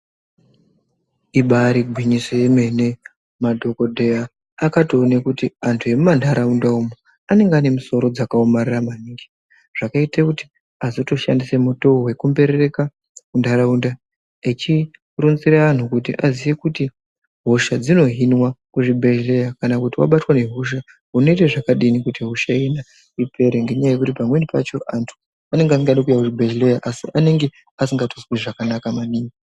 Ibari gwinyiso yomene madhokodheya akatoone kuti antu emumantaraunda umo anenge ane musoro dzakaomarara maningi zvakaite kuti azotoshandise mutoo wekumberereka muntaraunda echironzere antu kuti aziye kuti hosha dzinohinwa kuzvibhedhlera kana kuti wabatwa ngehosha inoite zvakadi kuti hosha iyona ipere ngekuti pamweni pacho a antu anenge asingadi kuuya kuzvibhedhlera asi vanenge vasingatozwi zvakanaka maningi.